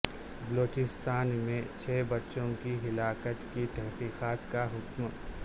بلوچستان میں چھ بچوں کی ہلاکت کی تحقیقات کا حکم